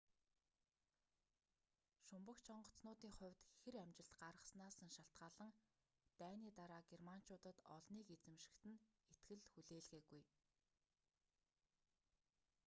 шумбагч онгоцнуудын хувьд хир амжилт гаргаснаас нь шалтгаалан дайны дараа германчуудад олныг эзэмшихэд нь итгэл хүлээлгээгүй